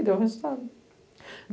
E deu resultado.